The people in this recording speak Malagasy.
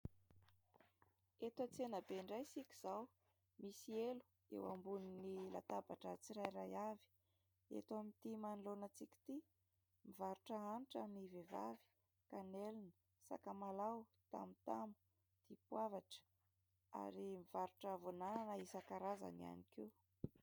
Eto an-tsenabe indray isika izao. Misy elo eo ambonin'ny latabatra tsirairay avy eto amin'ity manoloana antsika ity mivarotra hanitra ny vehivavy. Kanelina, sakamalao, tamotamo, dipoavatra ary mivarotra voan'anana isan-karazany ihany koa.